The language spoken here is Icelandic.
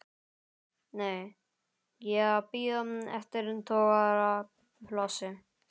Nei, ég er að bíða eftir togaraplássi.